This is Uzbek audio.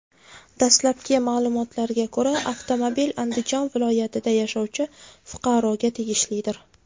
Dastlabki ma’lumotlarga ko‘ra, avtomobil Andijon viloyatida yashovchi fuqaroga tegishlidir.